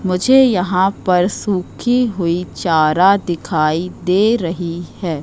मुझे यहां पर सूखी हुई चारा दिखाई दे रही है।